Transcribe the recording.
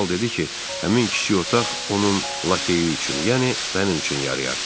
Kral dedi ki, həmin kiçik otaq onun lakeyi üçün, yəni mənim üçün yarayar.